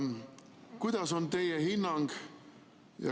Milline on teie hinnang?